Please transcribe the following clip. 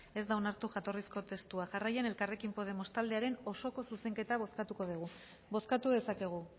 ez da onartu jatorrizko testua jarraian elkarrekin podemos taldearen osoko zuzenketa bozkatuko dugu bozkatu dezakegu